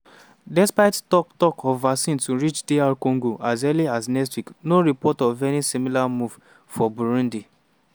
despite tok-tok of vaccines to reach dr congo as early as next week no reports of any similar move for burundi.